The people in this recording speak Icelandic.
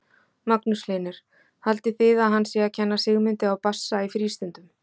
Magnús Hlynur: Haldið þið að hann sé að kenna Sigmundi á bassa í frístundum?